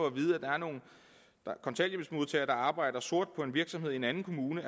at vide at der er nogle kontanthjælpsmodtagere der arbejder sort på en virksomhed i en anden kommune